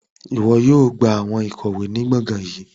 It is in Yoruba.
Iwọ yóò gba awọn ikọwe ni gbọngan yẹn